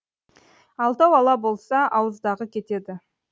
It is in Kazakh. алтау ала болса ауыздағы кетеді